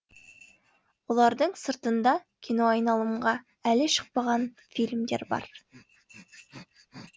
бұлардың сыртында киноайналымға әлі шықпаған фильмдер бар